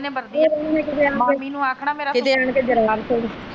ਜਿਨ੍ਹੇ ਵਧੀਆ ਮਾਮੀ ਨੇ ਆਖਣਾ .